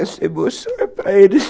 Essa emoção é para eles.